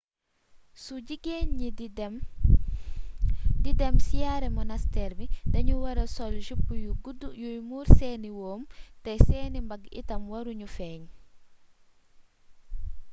su jigéen ñi d idem siyaare monasteer bi dañu wara soll jupe yu gudd yuy muur seeni wóom te seeni mbagg itam waru ñu feeñ